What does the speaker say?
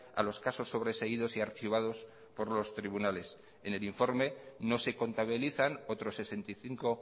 a los casos sobreseídos y archivados por los tribunales en el informe no se contabilizan otros sesenta y cinco